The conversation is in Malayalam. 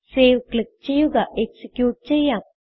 സേവ് ക്ലിക്ക് ചെയ്യുക എക്സിക്യൂട്ട് ചെയ്യാം